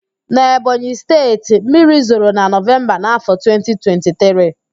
Na Ebonyị Steeti, mmiri zoro na Nọvemba na afọ 2023